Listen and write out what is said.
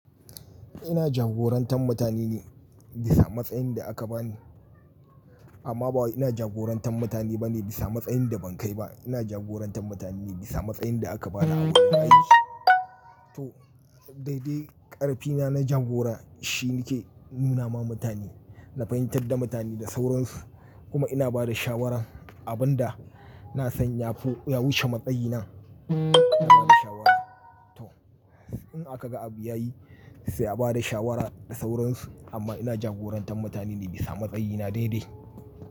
Ina jagorantar mutane ne bisa matsayin da aka bani. Amma ba wai ina jagorantar mutane bane bisa matsayin da ban kai ba. Ina jagorantar mutane ne bisa matsayin da aka bani a wurin aiki. To, daidai ƙarfina na jagora shi yake nuna ma mutane, na fahimtar da mutane da sauransu kuma ina ba da shawara abin dana san ya fi, ya wuce matsayina. Ina bada shawara. To, in akaga abu yayi sai a bada shawara da sauransu amma ina jagorantar mutane ne bisa matsayina daidai.